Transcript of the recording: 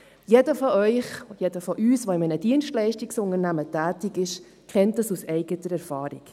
Jeder von Ihnen, jeder von uns, der in einem Dienstleistungsunternehmen tätig ist, kennt das aus eigener Erfahrung.